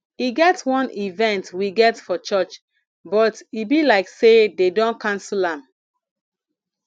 e get wan event we get for church but e be like say dey don cancel am